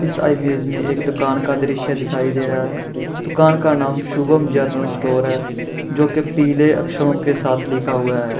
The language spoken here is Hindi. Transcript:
इस इमेज में एक दुकान का दृश्य दिखाई दे रहा है दुकान का नाम शुभम जनरल स्टोर है जो के पीले अक्षरों के साथ लिखा हुआ है।